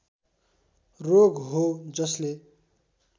रोग हो जसले